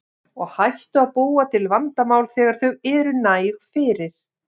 Og hættu að búa til vandamál þegar þau eru næg fyrir.